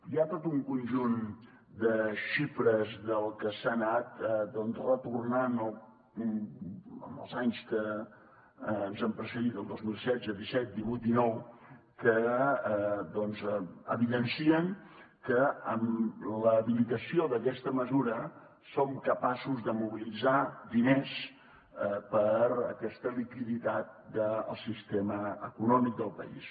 hi ha tot un conjunt de xifres del que s’ha anat doncs retornant els anys que ens han precedit el dos mil setze disset divuit dinou que evidencien que amb l’habilitació d’aquesta mesura som capaços de mobilitzar diners per a aquesta liquiditat del sistema econòmic del país